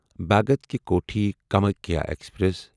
Bhagat ki Kothi Kamakhya express